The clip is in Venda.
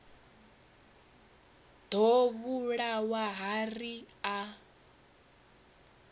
ḓo vhulawa ha ri a